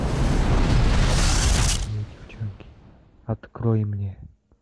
фильм очень плохие девчонки открой мне